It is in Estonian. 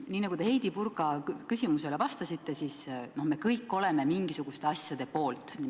Nii nagu te Heidy Purga küsimusele vastasite, me kõik oleme mingisuguste asjade poolt.